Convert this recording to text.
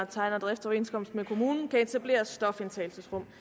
tegner driftsoverenskomst med kommunen kan etablere et stofindtagelsesrum